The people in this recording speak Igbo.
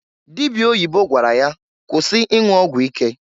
Dịbịa oyibo gwara ya, "kwụsị ịnwụ ọgwụ ike!"